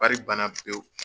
Wari ba na pewu.